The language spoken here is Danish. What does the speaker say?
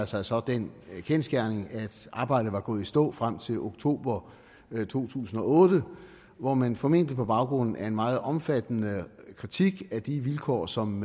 sig så den kendsgerning at arbejdet var gået i stå frem til oktober to tusind og otte hvor man formentlig på baggrund af en meget omfattende kritik af de vilkår som